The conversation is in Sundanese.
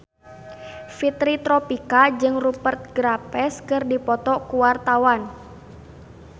Fitri Tropika jeung Rupert Graves keur dipoto ku wartawan